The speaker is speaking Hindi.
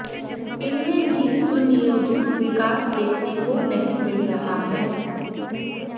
इनमें भी सुनियोजित विकास देखने को नहीं मिल रहा है